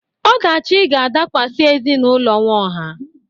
Ọdachi ga-adakwasị ezinụlọ Nwaohia.